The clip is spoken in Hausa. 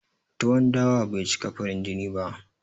Tuwon dawa bai cika farin jini ba